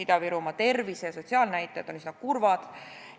Ida-Virumaa tervise- ja sotsiaalnäitajad on üsna kurvad.